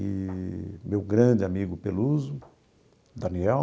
Eee meu grande amigo Peluso, Daniel,